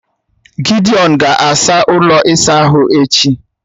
Gidiọn ga-asaa ụlọ ịsa ahụ echi